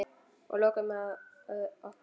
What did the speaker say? Og lokuðum að okkur.